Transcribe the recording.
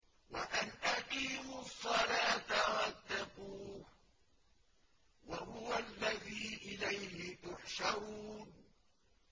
وَأَنْ أَقِيمُوا الصَّلَاةَ وَاتَّقُوهُ ۚ وَهُوَ الَّذِي إِلَيْهِ تُحْشَرُونَ